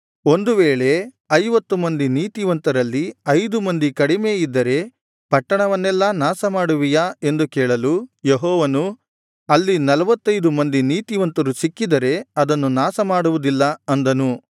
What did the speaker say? ಒಂದು ವೇಳೆ ಐವತ್ತು ಮಂದಿ ನೀತಿವಂತರಲ್ಲಿ ಐದು ಮಂದಿ ಕಡಿಮೆ ಇದ್ದರೆ ಪಟ್ಟಣವನ್ನೆಲ್ಲಾ ನಾಶ ಮಾಡುವಿಯಾ ಎಂದು ಕೇಳಲು ಯೆಹೋವನು ಅಲ್ಲಿ ನಲ್ವತ್ತೈದು ಮಂದಿ ನೀತಿವಂತರು ಸಿಕ್ಕಿದರೆ ಅದನ್ನು ನಾಶ ಮಾಡುವುದಿಲ್ಲ ಅಂದನು